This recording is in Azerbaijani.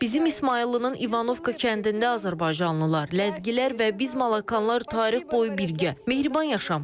Bizim İsmayıllının İvanovka kəndində azərbaycanlılar, ləzgilər və biz malakanlar tarix boyu birgə, mehriban yaşamışıq.